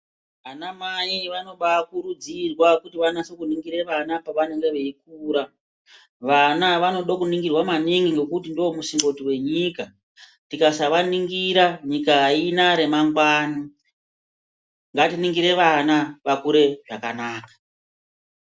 Ana mai vanobaa kuridzirwa kuti vanongire vana pavanenga veyikura vana vanoda kuningirwa maningi ngekuti ndomusimboti wenyika tikasava ningira nyika hayina remangwani ngatiningire vana vakure zvakanaka.